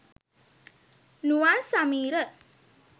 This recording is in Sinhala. nuwan sameera